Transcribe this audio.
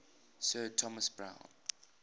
sir thomas browne